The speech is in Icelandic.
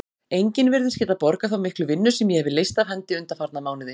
Enginn virðist geta borgað þá miklu vinnu sem ég hefi leyst af hendi undanfarna mánuði.